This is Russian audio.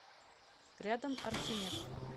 рядом архимед